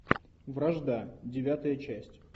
вражда девятая часть